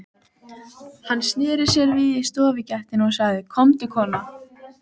Hann sneri sér við í stofugættinni og sagði: Komdu kona!